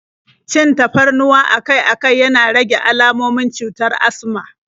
Cin tafarnuwa akai-akai yana rage almomin cutar asma